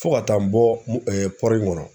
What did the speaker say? Fo ka taa n bɔ in kɔnɔ.